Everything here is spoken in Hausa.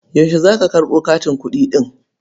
Yaushe za ka karɓo katin kuɗi ɗin?